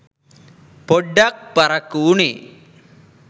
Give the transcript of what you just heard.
පොඩ්ඩක් පරක්කු වුනේ.